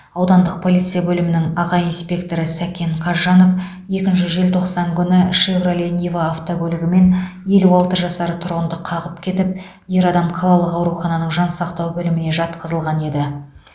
аудандық полиция бөлімінің аға инспекторы сәкен қазжанов екінші желтоқсан күні шевроле нива автокөлігімен елу алты жасар тұрғынды қағып кетіп ер адам қалалық аурухананың жансақтау бөліміне жатқызылған еді